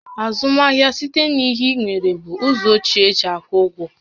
Azụmahịa site n'inye ihe inwere bụ ụzọ ochie e si akwụ ụgwọ